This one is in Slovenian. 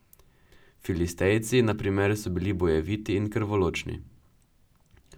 Filistejci, na primer, so bili bojeviti in krvoločni.